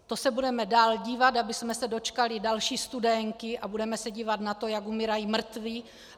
To se budeme dál dívat, abychom se dočkali další Studénky, a budeme se dívat na to, jak umírají mrtví?